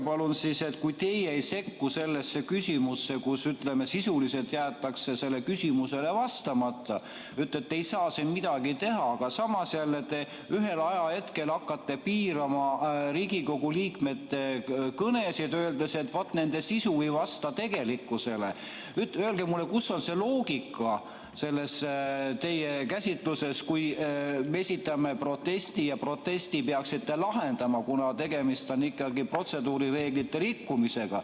Palun öelge, kui teie ei sekku sellesse, et sisuliselt jäetakse küsimusele vastamata, vaid ütlete, et te ei saa siin midagi teha, aga samas te ühel hetkel hakkate piirama Riigikogu liikmete kõnesid, öeldes, et nende sisu ei vasta tegelikkusele – öelge mulle, kus on teie käsitluses loogika, kui me esitame protesti ja selle te peaksite lahendama, kuna tegemist on ikkagi protseduurireeglite rikkumisega.